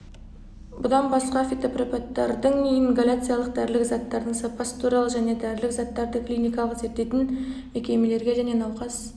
бұдан басқа фитопрепараттардың ингаляциялық дәрілік заттардың сапасы туралы және дәрілік заттарды клиникалық зерттейтін мекемелерге және науқас